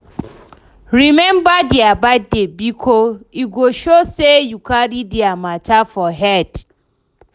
Remember dia birthday bikos e go show sey yu cari dia mata for head